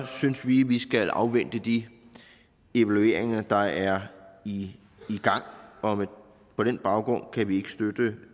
synes vi vi skal afvente de evalueringer der er i gang og på den baggrund kan vi ikke støtte